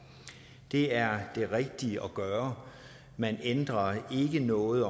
det er det rigtige at gøre man ændrer ikke noget